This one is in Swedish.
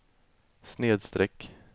snedsträck